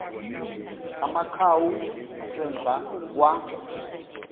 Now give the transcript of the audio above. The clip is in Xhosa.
amakhawu ngasemva kwa